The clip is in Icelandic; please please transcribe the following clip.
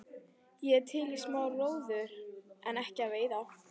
Ég er til í smá róður en ekki að veiða.